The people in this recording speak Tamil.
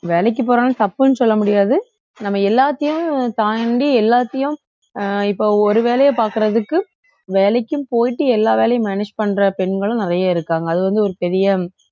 வேலைக்கு போறாங்க தப்புன்னு சொல்ல முடியாது நம்ம எல்லாத்தையும் தாண்டி எல்லாத்தையும் அஹ் இப்போ ஒரு வேலையை பாக்குறதுக்கு வேலைக்கும் போயிட்டு எல்லா வேலையும் manage பண்ற பெண்களும் நிறைய இருக்காங்க அது வந்து ஒரு பெரிய